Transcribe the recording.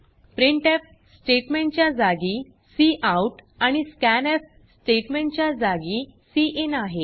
printf statement च्या जागी cout आणि स्कॅन्फ स्टेटमेंट च्या जागी सिन आहे